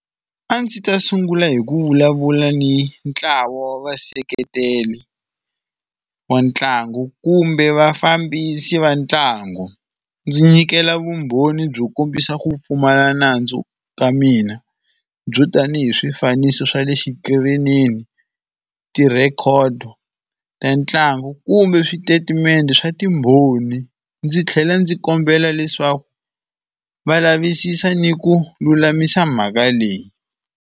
A ndzi ta sungula hi ku vulavula ni ntlawa wa vaseketeli wa ntlangu kumbe vafambisi va ntlangu. Ndzi nyikela vumbhoni byo kombisa ku pfumala nandzu ka mina, byo tani hi swifaniso swa le xikirini, ti-record ta ntlangu kumbe switatimende swa timbhoni ndzi tlhela ndzi kombela leswaku va lavisisa ni ku lulamisa mhaka leyi.